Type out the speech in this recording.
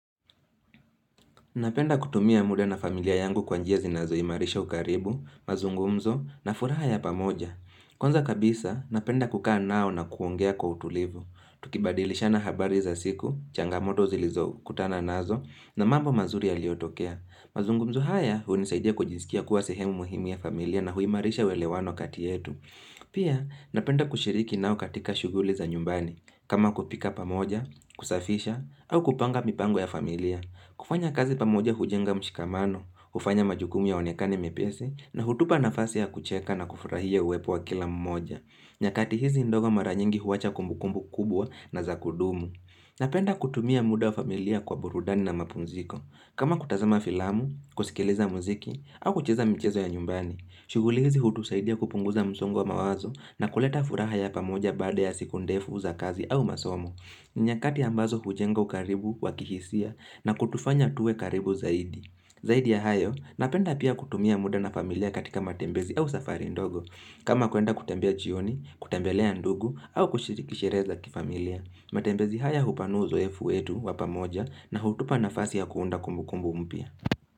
Napenda kutumia muda na familia yangu kwa njia zinazoimarisha ukaribu, mazungumzo na furaha ya pamoja. Kwanza kabisa, napenda kukaa nao na kuongea kwa utulivu. Tukibadilishana habari za siku, changamoto zilizokutana nazo na mambo mazuri yaliyotokea. Mazungumzo haya, hunisaidia kujiskia kuwa sehemu muhimu ya familia na huimarisha uelewano kati yetu. Pia, napenda kushiriki nao katika shughuli za nyumbani, kama kupika pamoja, kusafisha, au kupanga mipango ya familia. Kufanya kazi pamoja hujenga mshikamano, hufanya majukumu yaonekani mepesi, na hutupa nafasi ya kucheka na kufurahia uwepo wa kila mmoja. Nyakati hizi ndogo mara nyingi huwacha kumbukumbu kubwa na za kudumu. Napenda kutumia muda wa familia kwa burudani na mapumziko. Kama kutazama filamu, kusikiliza muziki, au kucheza mchezo ya nyumbani. Shughuli hizi hutusaidia kupunguza msongo wa mawazo na kuleta furaha ya pamoja baada ya siku ndefu za kazi au masomo. Ni nyakati ambazo hujenga ukaribu wa kihisia na kutufanya tuwe karibu zaidi. Zaidi ya hayo, napenda pia kutumia muda na familia katika matembezi au safari ndogo. Kama kuenda kutembea jioni, kutembelea ndugu au kushiriki sherehe za kifamilia. Matembezi haya hupanua uzoe fu wetu wa pamoja na hutupa nafasi ya kuunda kumbu kumbu mpya.